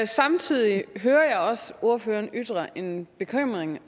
samtidig hører jeg også ordføreren ytre en bekymring